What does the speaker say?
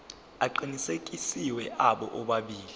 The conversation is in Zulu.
aqinisekisiwe abo bobabili